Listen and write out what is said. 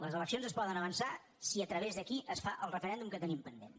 les eleccions es poden avançar si a tra·vés d’aquí es fa el referèndum que tenim pendent